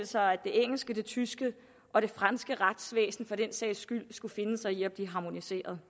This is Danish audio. sig at det engelske det tyske og det franske retsvæsen for den sags skyld skulle finde sig i at blive harmoniseret